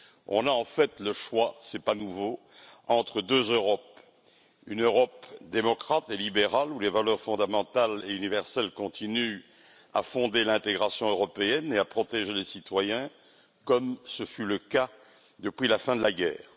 On a en fait le choix, ce n'est pas nouveau, entre deux Europe une Europe démocrate et libérale, où les valeurs fondamentales et universelles continuent à fonder l'intégration européenne et à protéger les citoyens, comme ce fut le cas depuis la fin de la guerre